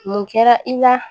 Mun kɛra i la